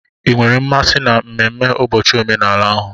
Ị nwere mmasị na mmemme ụbọchị omenala ahụ?